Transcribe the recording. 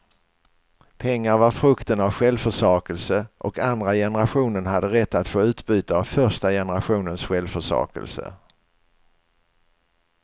Pengar var frukten av självförsakelse, och andra generationen hade rätt att få utbyte av första generationens självförsakelse.